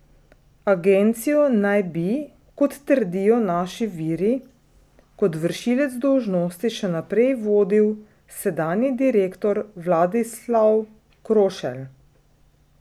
Agencijo naj bi, kot trdijo naši viri, kot vršilec dolžnosti še naprej vodil sedanji direktor Vladislav Krošelj.